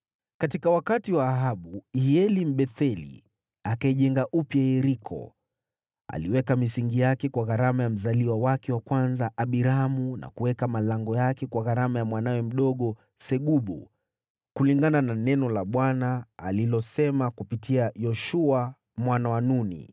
Katika wakati wa Ahabu, Hieli, Mbetheli, akaijenga upya Yeriko. Aliweka misingi yake kwa gharama ya mzaliwa wake wa kwanza Abiramu, na kuweka malango yake kwa gharama ya mwanawe mdogo Segubu, kulingana na neno la Bwana alilosema kupitia Yoshua mwana wa Nuni.